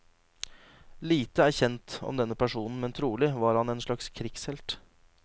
Lite er kjent om denne personen, men trolig var han en slags krigshelt.